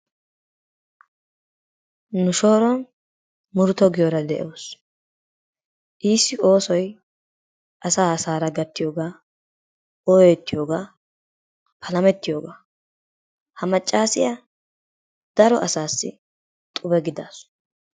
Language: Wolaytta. Nu shooron Murutto giyoora de'awusu, issi oosoy asaa asaara gattiyoga, ooyettiyoga, palamettiyoga, ha macaasiya daro asaassi xubbe gidaasu.